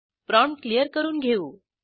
prompt clear करून घेऊ